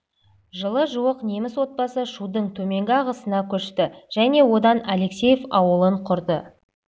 жылы жуық неміс отбасы шудың төменгі ағысына көшті және онда алексеев ауылын құрды